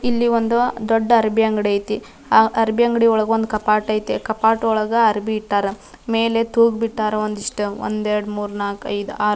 ಇಲ್ಲಿ ಒಂದು ದೊಡ್ಡ ಅರಬಿ ಅಂಗಡಿ ಐತಿ ಆಹ್ಹ್ ಅರಬಿ ಅಂಗಡಿ ಒಳಗೆ ಕಾಪಾಟ್ ಐಟಿ ಕಾಪಾಟ್ ಒಳಗ ಅರಬಿ ಇಟ್ಟರ ಮೇಲೆ ತೂಗ್ ಬಿಟ್ಟರ ಒಂದಿಷ್ಟು ಒಂದ್ ಎರಡ್ ಮೂರ್ ನಾಲ್ಕ್ ಐದ್ ಆರ್--